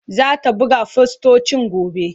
Zata buga fostocin gobe.